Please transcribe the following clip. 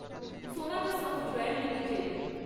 Sonata software limited